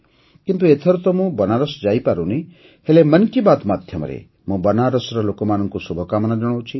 କିନ୍ତୁ ଏଥର ତ ମୁଁ ବନାରସ୍ ଯାଇପାରୁନି ହେଲେ ମନ୍ କି ବାତ୍ ମାଧ୍ୟମରେ ମୁଁ ବନାରସ୍ର ଲୋକମାନଙ୍କୁ ଶୁଭକାମନା ଜଣାଉଛି